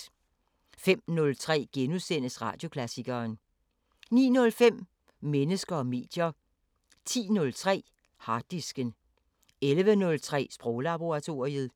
05:03: Radioklassikeren * 09:05: Mennesker og medier 10:03: Harddisken 11:03: Sproglaboratoriet